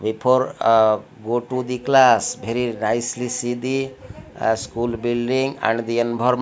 before ah go to the class bery nicely see the uh school building and the enbor--